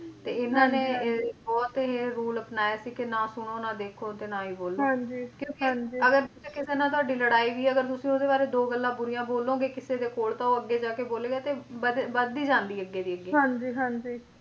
ਤੇ ਇਹਨਾਂ ਨੇ ਬਹੁਤ ਇਹ rule ਅਪਣਾਇਆ ਸੀ ਕੇ ਨਾ ਸੁਣੋ ਨਾ ਦੇਖੋ ਤੇ ਨਾ ਹੀ ਬੋਲੋ ਕਿਉਂਕਿ ਅਗਰ ਕਿਸੇ ਨਾਲ ਤੁਹਾਡੀ ਲੜਾਈ ਵੀ ਆ ਤਾਂ ਤੁਸੀ ਓਹਦੇ ਬਾਰੇ ਦੋ ਗੱਲਾਂ ਬੁਰੀਆਂ ਬੋਲੋਂਗੇ ਕਿਸੇ ਦੇ ਕੋਲ ਤਾਂ ਉਹ ਅੱਗੇ ਜਾਕੇ ਬੋਲੇਗਾ ਤੇ ਵੱਧ ਵੱਧਦੀ ਜਾਂਦੀ ਅੱਗੇ ਦੀ ਅੱਗੇ ਹਾਂਜੀ